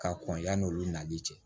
Ka kɔn yan nɔ olu nali cɛ